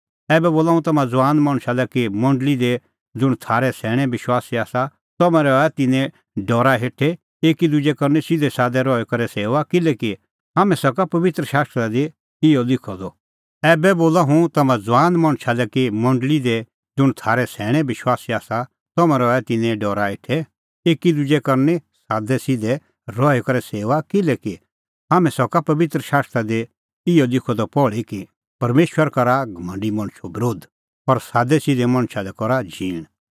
ऐबै बोला हुंह तम्हां ज़ुआन मणछा लै कि मंडल़ी दी ज़ुंण थारै सैणैं विश्वासी आसा तम्हैं रहा तिन्नें डरा हेठै एकी दुजे करनी सादैसिधै रही करै सेऊआ किल्हैकि हाम्हैं सका पबित्र शास्त्रा दी इहअ लिखअ द पहल़ी कि परमेशर करा घमंडी मणछो बरोध पर सादैसिधै मणछा लै करा झींण